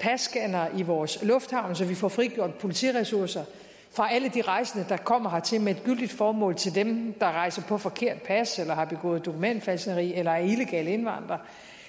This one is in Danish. passcannere i vores lufthavne så vi får frigjort politiressourcer fra alle de rejsende der kommer hertil med et gyldigt formål til dem der rejser på forkert pas eller har begået dokumentfalskneri eller er illegale indvandrere